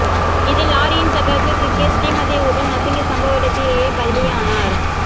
இதில் லாரியின் சக்கரத்தில் சிக்கிய ஸ்ரீமதி உடல் நசுங்கி சம்பவ இடத்திலேயே பலியானார்